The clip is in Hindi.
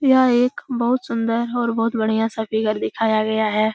यह एक बहुत सुंदर और बहुत बढ़िया-सा फिगर दिखाया गया है।